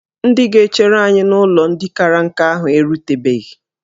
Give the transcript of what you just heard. Ndị ga-echere anyị n'ụlọ ndị kara nka ahụ erutebeghi